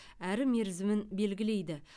әрі мерзімін белгілейді